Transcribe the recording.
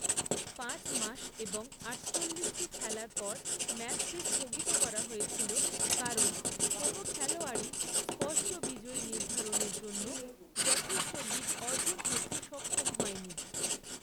পাঁচ মাস এবং আটচল্লিশটি খেলার পর ম্যাচটি স্থগিত করা হয়েছিল, কারণ কোনও খেলোয়াড়ই স্পষ্ট বিজয়ী নির্ধারণের জন্য যথেষ্ট লিড অর্জন করতে সক্ষম হয়নি।